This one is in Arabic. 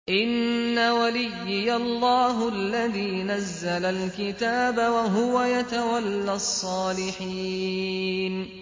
إِنَّ وَلِيِّيَ اللَّهُ الَّذِي نَزَّلَ الْكِتَابَ ۖ وَهُوَ يَتَوَلَّى الصَّالِحِينَ